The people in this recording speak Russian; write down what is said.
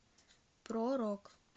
про рок